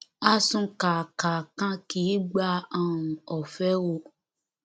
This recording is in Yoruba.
àsúnkáaka kan kì í gba um ọfẹ o